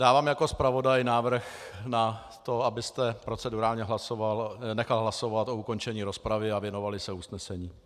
Dávám jako zpravodaj návrh na to, abyste procedurálně nechal hlasovat o ukončení rozpravy a věnovali se usnesení.